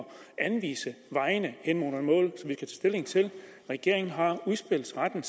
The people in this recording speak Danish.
anvise vejen hen imod målet stilling til regeringen har udspilsretten